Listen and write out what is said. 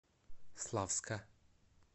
славска